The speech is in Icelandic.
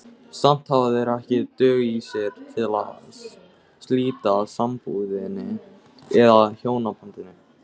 Samt hafa þeir ekki dug í sér til að slíta sambúðinni eða hjónabandinu.